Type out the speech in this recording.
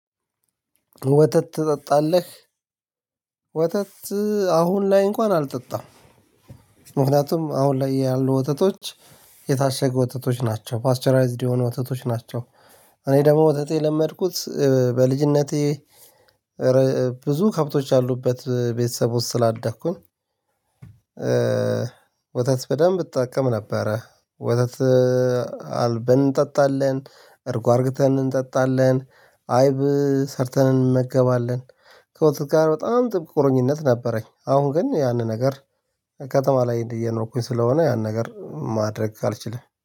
ወተት ትጠጣለህ? ወተት አሁን ላይ እንኳን አልጠጣም ምክንያቱም አሁን ላይ ያሉ ወተቶች የታሸገ ወተቶች ናቸው፣ ፓስቸራይዝድ የሆኑ ወተቶች ናቸው። እኔ ደግሞ ወተት የለመድኩት በልጅነቴ ብዙ ከብቶች ያሉበት ቤተሰብ ስላደኩኝ ወተት በደንብ እጠቀም ነበረ። ወተት አልበን እንጠጣለን፣ እርግጠን እንጠጣለን፣ አይብ ሰርተን እንመገባለን። ከወተት ጋር በጣም ጥብቅ ቁርኝነት ነበረኝ አሁን ግን ያንን ነገር ከተማ ላይ እንዲህ እየኖርኩኝ ስለሆነ ያን ነገር ማድረግ አልችልም።